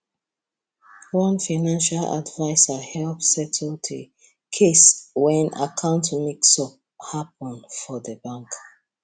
one financial advisor help settle the case when account mix up happen for the bank